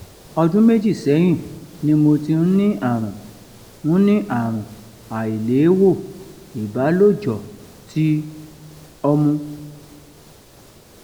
ọdún méjì sẹ́yìn ni mo ti ń ní àrùn ń ní àrùn àìléèwò ìbálòjọ̀ ti omu